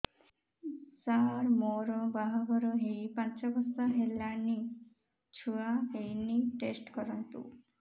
ସାର ମୋର ବାହାଘର ହେଇ ପାଞ୍ଚ ବର୍ଷ ହେଲାନି ଛୁଆ ହେଇନି ଟେଷ୍ଟ କରନ୍ତୁ